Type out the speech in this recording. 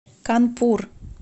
канпур